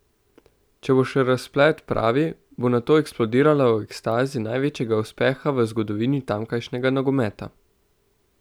Če bo še razplet pravi, bo nato eksplodirala v ekstazi največjega uspeha v zgodovini tamkajšnjega nogometa.